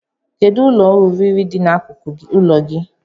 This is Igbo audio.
Kedụ ụlọ oriri dị n'akụkụ ụlọ gị?